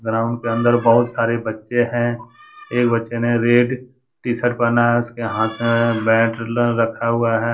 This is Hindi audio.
ग्राउंड के अंदर बहुत सारे बच्चे है एक बच्चे ने रेड टी-शर्ट पहना है उसके हाथ में बैट रखा हुआ है।